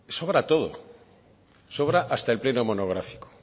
sobra todo sobra hasta el pleno monográfico